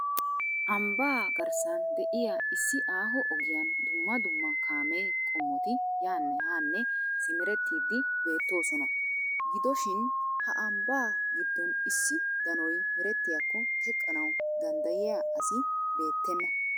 Ambbaa garssan de'iyaa issi aaho ogiyaan dumma dumma kaame qommoti yaanne haanne simerettidi beettoosona. Gidoshin ha ambbaa gidin issi danoy meretiyaako teqqanaw danddiyiyaa asi beettena.